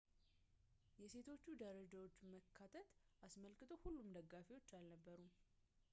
የሴቶቹ ደረጃዎች መካተት አስመልክቶ ሁሉም ደጋፊ አልነበሩም